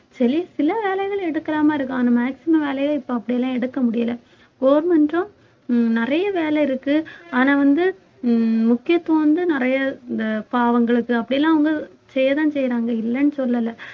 சில வேலைகள் எடுக்கிற மாதிரி இருக்கும் ஆனா maximum வேலையை இப்ப அப்படி எல்லாம் எடுக்க முடியல government ம் நிறைய வேலை இருக்கு ஆனா வந்து உம் முக்கியத்துவம் வந்து நிறைய இந்த பாவங்களுக்கு அப்படி எல்லாம் வந்து செய்யறனு செய்றாங்க இல்லைன்னு சொல்லலை